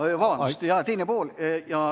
Aa, vabandust, jah, teine pool.